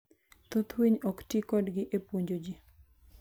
Thoth winy ok ti kodgi e puonjo ji.